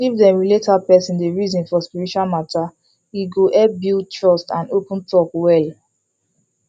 if dem relate how person dey reason for spiritual matter e go help build trust and open talk well